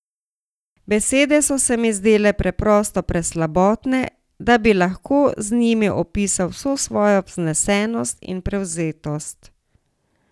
Besede so se mi zdele preprosto preslabotne, da bi lahko z njimi opisal vso svojo vznesenost in prevzetost.